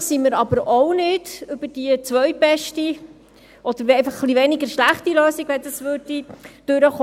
Glücklich sind wir über diese zweitbeste oder einfach etwas weniger schlechte Lösung aber ebenfalls nicht, wenn sie durchkäme.